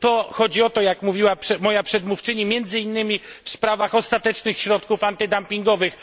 To o to chodzi jak mówiła moja przedmówczyni między innymi w sprawach ostatecznych środków antydumpingowych.